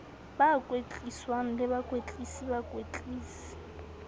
ba kwetliswang le bakwetlisi bakwetlisi